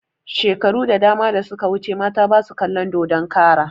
Shekaru da dama da suka wuce mata basu kalon dodon kara